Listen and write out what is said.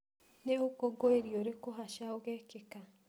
Nĩ ũkũngũĩri ũrĩkũ haca ũgekĩka?